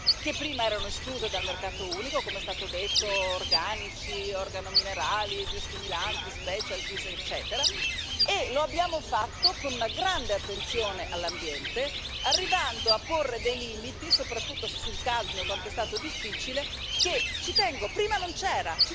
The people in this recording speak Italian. che prima erano escluse dal mercato unico, come è stato detto organici, organominerali, biostimolanti, specialties eccetera, e lo abbiamo fatto con una grande attenzione all'ambiente, arrivando a porre dei limiti, soprattutto sul cadmio quanto è stato difficile che prima non c'era!